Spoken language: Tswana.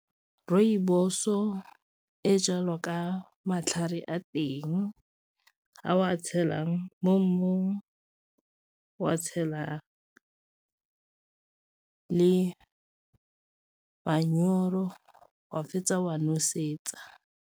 Rooibos-o e jalwa ka matlhare a teng a o a tshelang mo mmung, wa tshela le manyoro wa fetsa wa nosetsa.